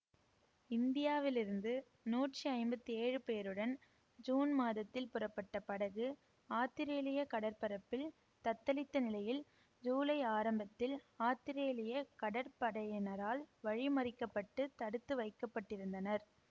இந்தியாவில் இருந்து நூற்றி ஐம்பத்தி ஏழு பேருடன் சூன் மாதத்தில் புறப்பட்ட படகு ஆத்திரேலிய கடற்பரப்பில் தத்தளித்த நிலையில் சூலை ஆரம்பத்தில் ஆத்திரேலிய கடற்படையினரால் வழி மறிக்கப்பட்டு தடுத்து வைக்க பட்டிருந்தனர்